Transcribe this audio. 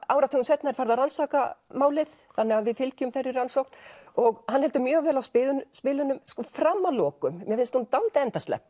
áratugum seinna er farið að rannsaka málið þannig að við fylgjum þeirri rannsókn og hann heldur mjög vel á spilunum spilunum fram að lokum mér finnst hún dálítið endaslepp